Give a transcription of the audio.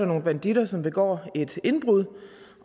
nogle banditter som begår et indbrud